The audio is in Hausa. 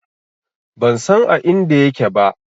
Ban san a inda yake ba.